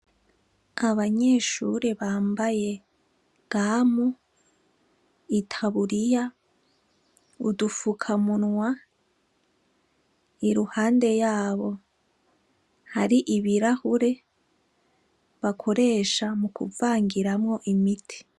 Abanyeshure bambaye gamu, itaburiya, udufukamunwa, iruhande yabo hari ibirahure, bakoresha mukuvangiramwo imiti.